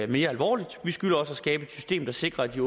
mere alvorligt vi skylder også at skabe et system der sikrer at det